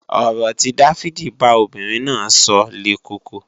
Ọ̀rọ̀ tí Dáfídì bá obìnrin náà sọ le koko